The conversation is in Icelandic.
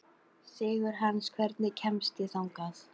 Sigurhans, hvernig kemst ég þangað?